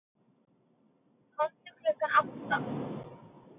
Komdu klukkan átta.